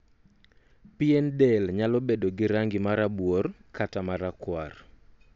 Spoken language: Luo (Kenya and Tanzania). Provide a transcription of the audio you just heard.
pien del nyalo bedo gi rangi ma rabuor kata ma rakwar